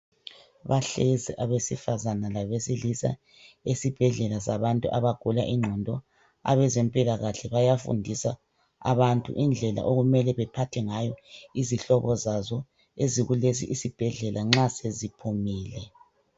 Bahlezi abesifazana labesilisa esibhedlela sabantu abagula inqondo. Abezempilakahle bayafundisa abantu indlela okumele bephathe ngayo izihlobo zaso ezikulesi isibhedlela nxa seziphumile.